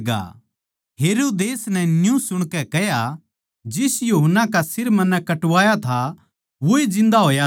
हेरोदेस नै न्यू सुणकै कह्या जिस यूहन्ना का सिर मन्नै कटवाया था वोए जिन्दा होया सै